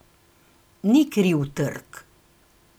Ni kriv trg!